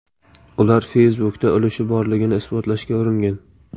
Ular Facebook’da ulushi borligini isbotlashga uringan.